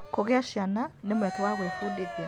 Kũgĩa ciana nĩ mweke wa gwĩbundithia.